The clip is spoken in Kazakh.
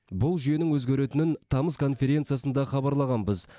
бұл жүйенің өзгеретінін тамыз конференциясында хабарлағанбыз